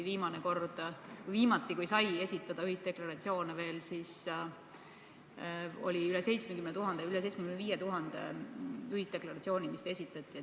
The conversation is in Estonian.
Viimati, kui veel sai esitada ühisdeklaratsioone, siis oli üle 75 000 ühisdeklaratsiooni, mis esitati.